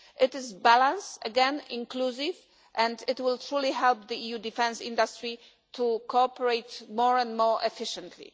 It is balanced, inclusive again, and it will truly help the EU defence industry to cooperate more and more efficiently.